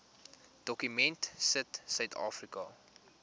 dokument sit suidafrika